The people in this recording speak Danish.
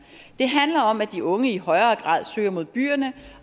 det handler om at de unge i højere grad søger mod byerne